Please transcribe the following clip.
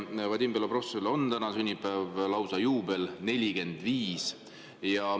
Vadim Belobrovtsevil on täna sünnipäev, lausa juubel, 45.